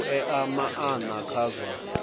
u ea maana kha zwa